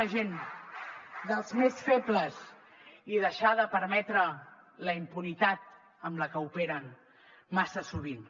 la gent dels més febles i deixar de permetre la impunitat amb què operen massa sovint